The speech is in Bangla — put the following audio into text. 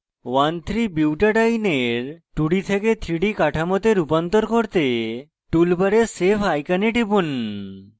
1 3butadiene bar 2d থেকে 3d কাঠামোতে রূপান্তর করতে টুলবারে save icon টিপুন